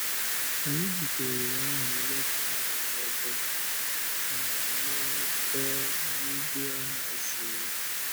Anyị jịkwa ohere ahụ leta ụfọdụ ha n’ebe ndị ha zọrò.